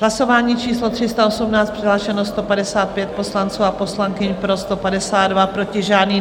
Hlasování číslo 318, přihlášeno 155 poslanců a poslankyň, pro 152, proti žádný.